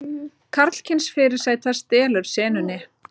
Karlkyns fyrirsæta stelur senunni